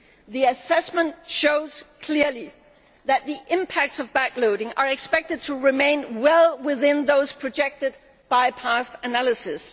The assessment shows clearly that the impacts of backloading are expected to remain well within those projected by past analysis.